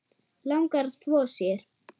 Langar að þvo sér.